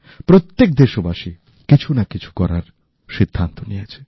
প্রত্যেক দেশবাসী কিছু না কিছু করার সিদ্ধান্ত নিয়েছে